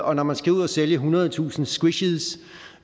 og når man skal ud at sælge ethundredetusind squishes